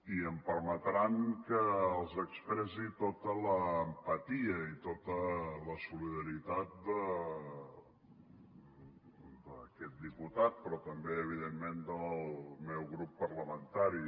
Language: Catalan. i em permetran que els expressi tota l’empatia i tota la solidaritat d’aquest diputat però també evidentment del meu grup parlamentari